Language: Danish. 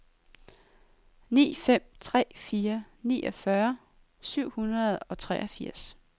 ni fem tre fire niogfyrre syv hundrede og treogfirs